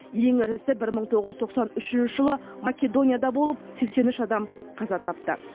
ең ірісі бір мың тоғыз жүз тоқсан үшінші жылы македонияда болып сексен үш адам қаза тапты